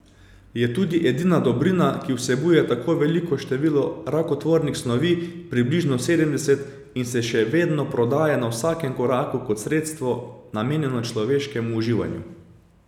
Je tudi edina dobrina, ki vsebuje tako veliko število rakotvornih snovi, približno sedemdeset, in se še vedno prodaja na vsakem koraku kot sredstvo namenjeno človeškemu uživanju.